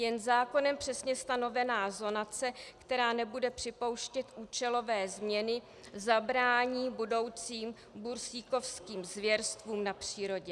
Jen zákonem přesně stanovená zonace, která nebude připouštět účelové změny, zabrání budoucím bursíkovským zvěrstvům na přírodě.